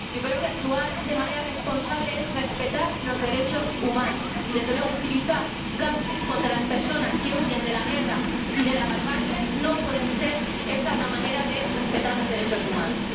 Yo creo que actuar de manera responsable es respetar los derechos humanos y, desde luego, utilizar gases contra las personas que huyen de la guerra y de la barbarie no puede ser una manera de respetar los derechos humanos.